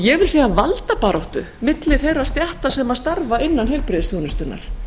ég hef séð valdabaráttu milli þeirra stétta sem starfa innan heilbrigðisþjónustunnar